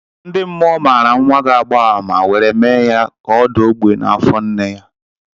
Ndi mmụọ maara nwa ga-agba àmà were mee ya ka ọ daa ogbi n'afọ nne ya.